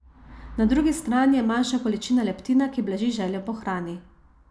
Na drugi strani je manjša količina leptina, ki blaži željo po hrani.